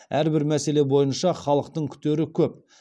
әрбір мәселе бойынша халықтың күтері көп